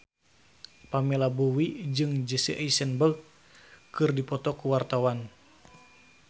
Pamela Bowie jeung Jesse Eisenberg keur dipoto ku wartawan